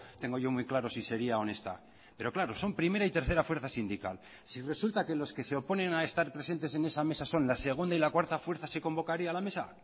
tengo yo muy claro si sería honesta pero claro son primera y tercera fuerza sindical si resulta que los que se oponen a estar presentes en esa mesa son la segunda y la cuarta fuerza se convocaría la mesa